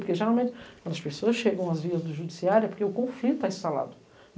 Porque, geralmente, quando as pessoas chegam às vias do judiciário, é porque o conflito está instalado.